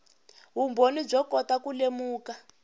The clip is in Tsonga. vumbhoni byo kota ku lemuka